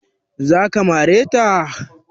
Za ka mare ta?